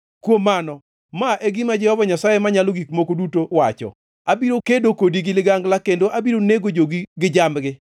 “ ‘Kuom mano, ma e gima Jehova Nyasaye Manyalo Gik Moko Duto wacho: Abiro kedo kodi gi ligangla kendo abiro nego jogi gi jambgi.